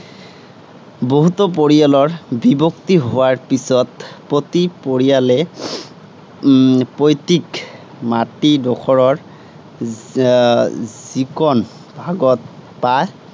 বহুতাে পৰিয়ালৰ বিভক্তি হােৱাৰ পাছত, প্ৰতি পৰিয়ালে উম পৈতৃক মাটিডােখৰৰ আহ যিকণ ভাগত পায়